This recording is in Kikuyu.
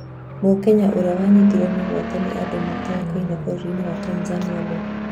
Mũkenya ũrĩa wanyitirwo mĩgwate nĩ andũ matoĩkaine bũrũri-inĩ wa Tanzania nũũ?